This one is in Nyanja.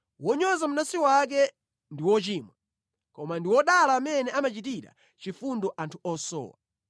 Wonyoza mnansi wake ndi wochimwa koma ndi wodala amene amachitira chifundo anthu osowa.